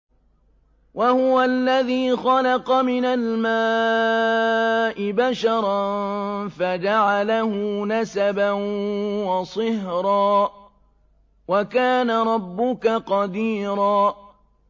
وَهُوَ الَّذِي خَلَقَ مِنَ الْمَاءِ بَشَرًا فَجَعَلَهُ نَسَبًا وَصِهْرًا ۗ وَكَانَ رَبُّكَ قَدِيرًا